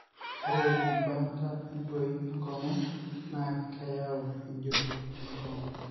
ore embaata entoyii enkongu na keyieu ejuro enkongu.